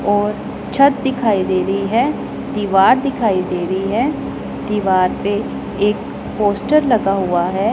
और छत दिखाई दे रही है दीवार दिखाई दे रही है दीवार पे एक पोस्टर लगा हुआ है।